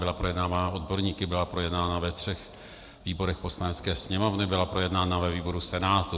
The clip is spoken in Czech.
Byla projednávána odborníky, byla projednána ve třech výborech Poslanecké sněmovny, byla projednána ve výboru Senátu.